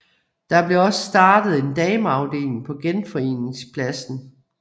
Der blev også startet en dameafdeling på Genforeningspladsen